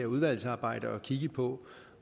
udvalgsarbejde at kigge på